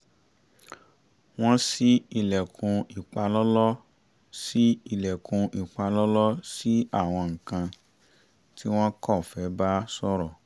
wọ́n ṣí ilẹ̀kùn ìpalọ́lọ́ ṣí ilẹ̀kùn ìpalọ́lọ́ sí àwọn nǹkan tí wọ́n kọ́ fẹ́ bá sọ̀rọ̀